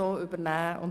Nun bin ich zu spät.